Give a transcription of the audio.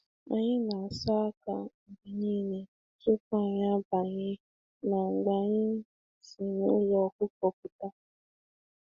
Anyị na-asa aka tupu na mgbe anyị batara na ụlọ zụ anụ ụlọ zụ anụ ọkụkọ mgbe niile.